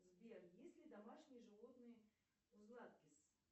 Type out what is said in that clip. сбер есть ли домашние животные у златкис